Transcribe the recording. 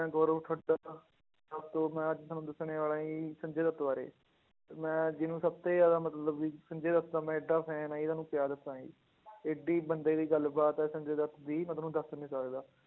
ਮੈਂ ਗੋਰਵ ਹਾਂ ਮੈਂ ਅੱਜ ਤੁਹਾਨੂੰ ਦੱਸਣ ਵਾਲਾ ਜੀ ਸੰਜੇ ਦੱਤ ਬਾਰੇ, ਤੇ ਮੈਂ ਜਿਹਨੂੰ ਸਭ ਤੋਂ ਜ਼ਿਆਦਾ ਮਤਲਬ ਵੀ ਸੰਜੇ ਦੱਤ ਦਾ ਮੈਂ ਇੱਡਾ fan ਆਂ ਜੀ ਤੁਹਾਨੂੰ ਕਿਆ ਦੱਸਾਂ ਜੀ ਇੱਡੀ ਬੰਦੇ ਦੀ ਗੱਲਬਾਤ ਹੈ ਸੰਜੇ ਦੱਤ ਦੀ ਮੈਂ ਤੁਹਾਨੂੰ ਦੱਸ ਨੀ ਸਕਦਾ।